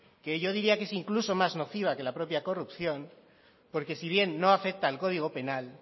que yo diría que es incluso más nociva que la propia corrupción porque si bien no afecta al código penal